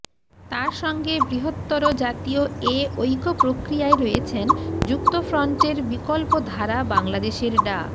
তার সঙ্গে বৃহত্তর জাতীয় এ ঐক্য প্রক্রিয়ায় রয়েছেন যুক্তফ্রন্টের বিকল্প ধারা বাংলাদেশের ডা